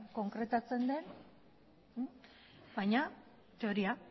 konkretatzen den baina teoria